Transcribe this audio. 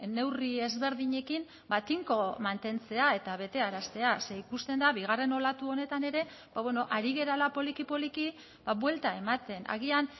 neurri ezberdinekin tinko mantentzea eta betearaztea ze ikusten da bigarren olatu honetan ere ari garela poliki poliki buelta ematen agian